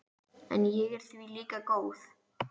En ég er því líka góð.